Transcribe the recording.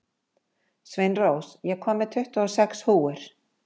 Sveinrós, ég kom með tuttugu og sex húfur!